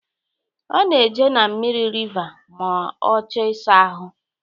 Ọ na-eje na mmiri riva ma ọ chọọ ịsa ahụ